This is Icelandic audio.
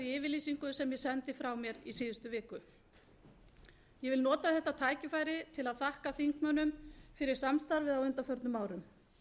yfirlýsingu sem ég sendi frá mér í síðustu viku ég vil nota þetta tækifæri til að þakka þingmönnum fyrir samstarfið á undanförnum árum